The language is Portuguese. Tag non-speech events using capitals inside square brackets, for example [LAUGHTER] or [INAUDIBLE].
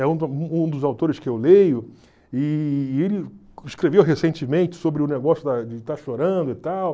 É [UNINTELLIGIBLE] um dos autores que eu leio e ele escreveu recentemente sobre o negócio da de estar chorando e tal.